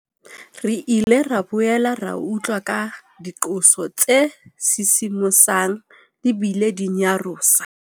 Re ile ra boela ra utlwa ka diqoso tse sisimosang di bile di nyarosa.